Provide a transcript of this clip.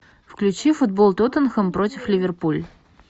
включи футбол тоттенхэм против ливерпуль